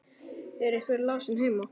Er einhver lasinn heima?